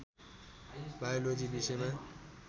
biology विषयमा